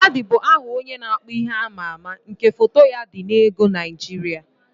Ladi bụ aha onye na-akpụ ihe amaama nke foto ya dị n'ego Naịjirịa.